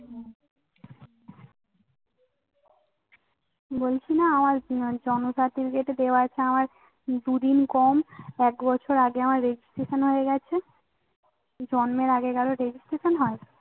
বলছি না আমার জন্ম certificate এ দেয়া আছে পাঁচ দুদিন কম এক বছর আগে আমার registration হয়ে গেছে। জন্মের আগে কারোর registration হয়?